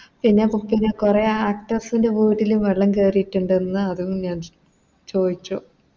പിന്നെ വീട്ടിലും കൊറേ Actors ൻറെ വീട്ടിലും വെള്ളം കേറീട്ടുണ്ടെന്ന് അതും ഞാൻ ചോയിച്ചു